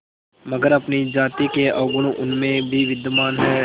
मगर अपनी जाति के अवगुण उनमें भी विद्यमान हैं